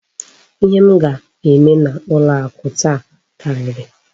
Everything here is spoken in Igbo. Ihe m ga-eme n'ụlọ akụ taa karịrị.